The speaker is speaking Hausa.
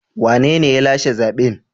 Wanene ya lashe zaɓen?